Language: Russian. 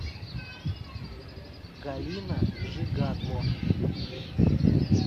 галина жигадло